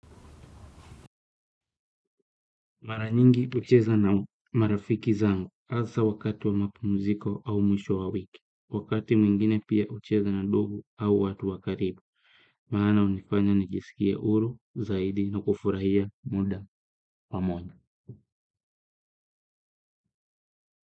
Maranyingi ucheza na marafiki zangu asa wakati wa mapu mziko au mwisho wa wiki, wakati mwingine pia ucheza na ndugu au watu wa karibu, maana unifanya nijisikie huru zaidi na kufurahia muda pamoja.